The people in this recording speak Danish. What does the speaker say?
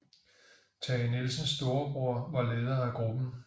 Tage Nielsens storebror var leder af gruppen